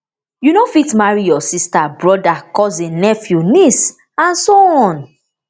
you no fit marry your sister brother cousin nephew niece and so on